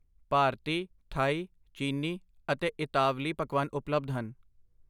ਭਾਰਤੀ, ਥਾਈ, ਚੀਨੀ ਅਤੇ ਇਤਾਲਵੀ ਪਕਵਾਨ ਉਪਲਬਧ ਹਨ।